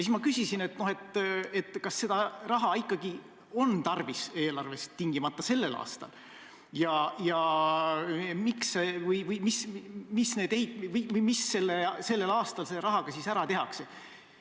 Siis ma küsisin, kas seda ikkagi on tarvis eelarvest tingimata tänavu teha või õigemini, mis siis sellel aastal selle rahaga ära tehakse.